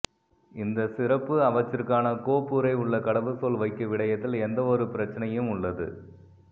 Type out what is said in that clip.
இந்த சிறப்புக் அவற்றிற்கான கோப்புறை உள்ள கடவுச்சொல் வைக்க விடயத்தில் எந்தவொரு பிரச்சினையும் உள்ளது